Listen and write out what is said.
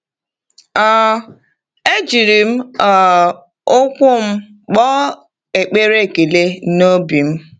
um E jiri m um ụkwụ m kpọọ ekpere ekele n’obi m.